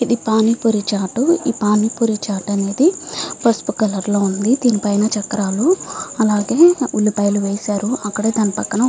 ఇది పానీ పూరి చాటు ఈ పాని పూరి చాటు అనేది పసుపు కలర్ లో ఉంది. దీనిపైన చక్రాలు అలాగే ఉల్లిపాయలు వేశారు అక్కడే దాని పక్కన --